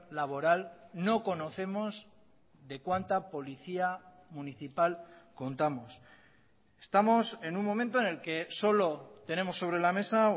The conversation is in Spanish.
laboral no conocemos de cuánta policía municipal contamos estamos en un momento en el que solo tenemos sobre la mesa